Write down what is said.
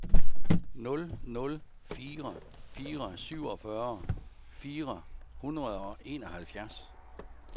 nul nul fire fire syvogfyrre fire hundrede og enoghalvfjerds